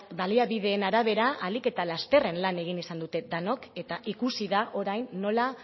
baliabideen arabera ahalik eta lasterren lan egin izan dute denok eta ikusi da orain nola